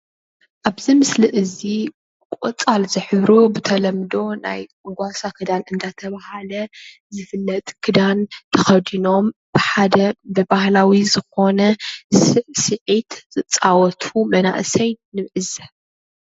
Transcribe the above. ኣብዚ ምስሊ እዚ ቆፃል ዝሕብሩ ብተለምዶ ናይ ጓሳ ክዳን እንዳተባሃለ ዝፍለጥ ክዳን ተከዲኖም ብሓደ ብባህላዊ ዝኮነ ስዕስዒት ዝፃወቱ መናእሰይ ንዕዘብ፡፡